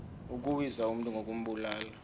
ukuwisa umntu ngokumbulala